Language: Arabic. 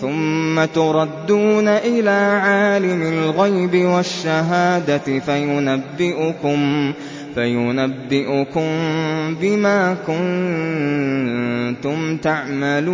ثُمَّ تُرَدُّونَ إِلَىٰ عَالِمِ الْغَيْبِ وَالشَّهَادَةِ فَيُنَبِّئُكُم بِمَا كُنتُمْ تَعْمَلُونَ